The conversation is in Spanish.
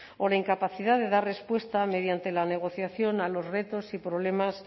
o la incapacidad de dar respuesta mediante la negociación a los retos y problemas